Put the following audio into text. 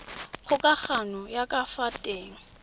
kgokagano ya ka fa teng